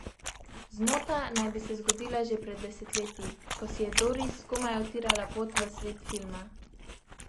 Zmota naj bi se zgodila že pred desetletji, ko si je Doris komaj utirala pot v svet filma.